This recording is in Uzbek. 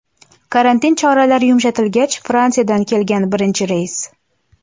Karantin choralari yumshatilgach Fransiyadan kelgan birinchi reys.